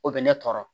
O bɛ ne tɔɔrɔ